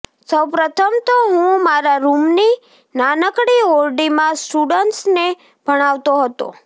સૌપ્રથમ તો હું મારા રૂમની નાનકડી ઓરડીમાં સ્ટુડન્ટ્સને ભણાવતો હતો